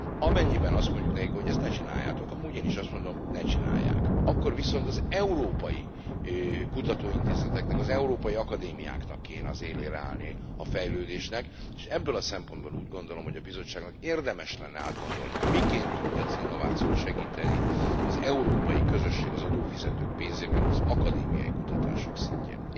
Amennyiben azt mondjuk nekik, hogy ezt ne csináljátok amúgy én is azt mondom, ne csinálják akkor viszont az európai kutatóintézeteknek, az európai akadémiáknak kellene az élére állni a fejlődésnek, és ebből a szempontból úgy gondolom, hogy a Bizottságnak érdemes lenne átgondolni, miként tudja az innovációt segíteni az európai közösség az adófizetők pénzéből az akadémiai kutatások szintjén.